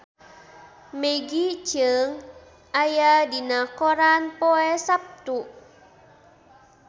Maggie Cheung aya dina koran poe Saptu